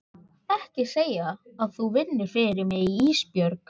Ekki segja að þú vinnir fyrir mig Ísbjörg.